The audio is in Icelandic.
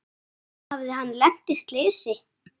Hafði hann lent í slysi?